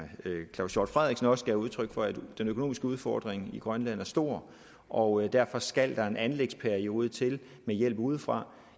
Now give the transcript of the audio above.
claus hjort frederiksen også gav udtryk for at den økonomiske udfordring i grønland er stor og derfor skal der en anlægsperiode til med hjælp udefra